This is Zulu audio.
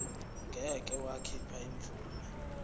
ngeke wakhipha imvume